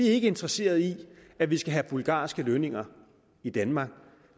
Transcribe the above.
er ikke interesseret i at vi skal have bulgarske lønninger i danmark